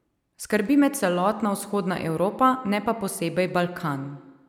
Skrbi me celotna vzhodna Evropa, ne pa posebej Balkan.